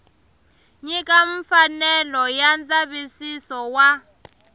nyika mfanelo ya ndzavisiso wa